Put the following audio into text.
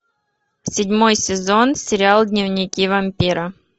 седьмой сезон сериал дневники вампира